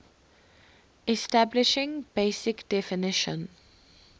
establishing basic definition